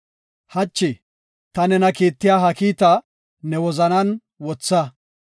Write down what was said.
Hachi ta nena kiittiya ha kiitaa ne wozanan wotha.